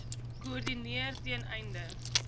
koördineer ten einde